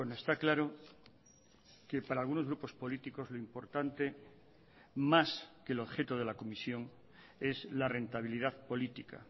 está claro que para algunos grupos políticos lo importante más que el objeto de la comisión es la rentabilidad política